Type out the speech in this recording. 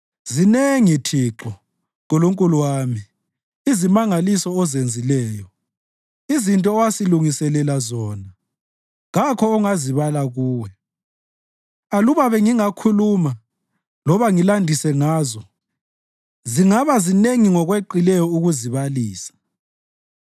Zinengi, Thixo, Nkulunkulu wami, izimangaliso ozenzileyo. Izinto owasilungiselela zona kakho ongazibala kuwe; aluba bengingakhuluma loba ngilandise ngazo, zingaba zinengi ngokweqileyo ukuzibalisa.